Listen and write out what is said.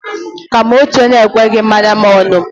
Ka m' otu onye ekweghi mmanya m ọnụ.